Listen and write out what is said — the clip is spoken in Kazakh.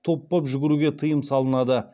топ боп жүгіруге тыйым салынады